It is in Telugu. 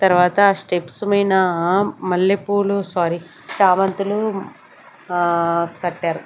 తర్వాత స్టెప్స్ మైనా మల్లెపూలు సారీ చామంతులు ఆ కట్టారు.